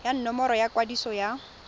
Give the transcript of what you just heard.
ya nomoro ya kwadiso ya